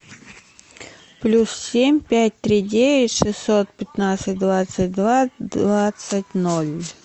плюс семь пять три девять шестьсот пятнадцать двадцать два двадцать ноль